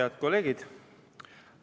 Head kolleegid!